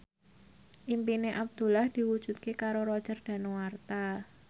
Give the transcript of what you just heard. impine Abdullah diwujudke karo Roger Danuarta